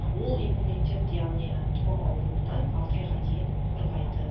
ол иммунитет яғни тымау ауруынан алты айға дейін қорғайды